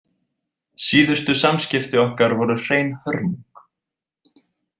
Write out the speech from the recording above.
Síðustu samskipti okkar voru hrein hörmung.